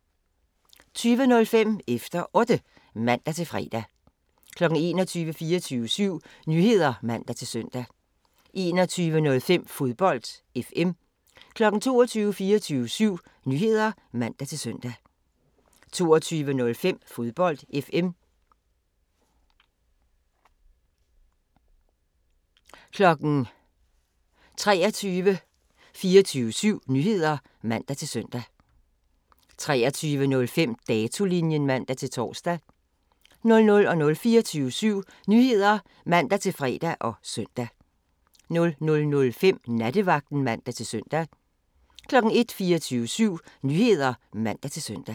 20:05: Efter Otte (man-fre) 21:00: 24syv Nyheder (man-søn) 21:05: Fodbold FM 22:00: 24syv Nyheder (man-søn) 22:05: Fodbold FM 23:00: 24syv Nyheder (man-søn) 23:05: Datolinjen (man-tor) 00:00: 24syv Nyheder (man-fre og søn) 00:05: Nattevagten (man-søn) 01:00: 24syv Nyheder (man-søn)